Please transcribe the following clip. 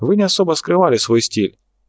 вы не особо скрывали свой стиль